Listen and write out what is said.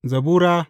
Zabura Sura